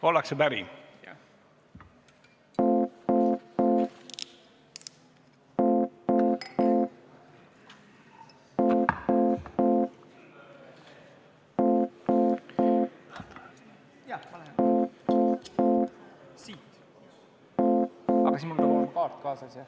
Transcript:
Ollakse päri.